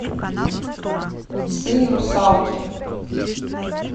сын русалки